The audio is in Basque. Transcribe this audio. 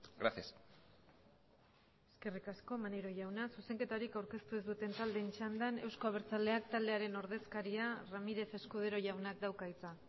gracias eskerrik asko maneiro jauna zuzenketarik aurkeztu ez duten taldeen txandan euzko abertzaleak taldearen ordezkariak ramírez escudero jaunak dauka hitza